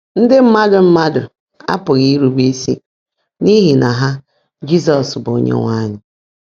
Ndị mmadụ mmadụ apụghị irube isi n’ihi na ha “Jizọs bụ Onyenwe anyị.”